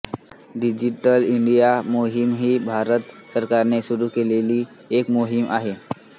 digital India मोहीम ही भारत सरकारने सुरू केलेली एक मोहीम आहे